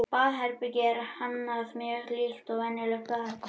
Baðherbergið er hannað mjög líkt og venjulegt baðherbergi.